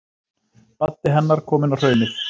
Baddi hennar kominn á Hraunið.